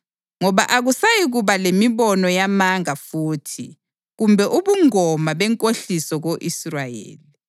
Ngoba akusayikuba lemibono yamanga futhi kumbe ubungoma benkohliso ko-Israyeli.